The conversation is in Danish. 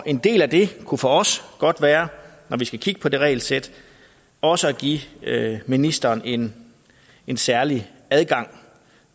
en del af det kunne for os godt være når vi skal kigge på det regelsæt også at give ministeren en en særlig adgang